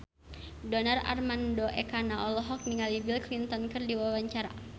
Donar Armando Ekana olohok ningali Bill Clinton keur diwawancara